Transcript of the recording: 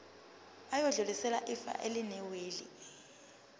bayodlulisela ifa elinewili